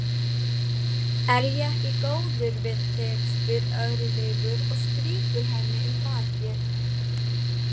Er ég ekki góður við þig, spyr Örlygur og strýkur henni um bakið.